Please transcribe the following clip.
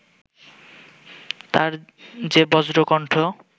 তার যে বজ্রকন্ঠ